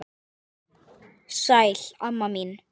Sæl, amma mín.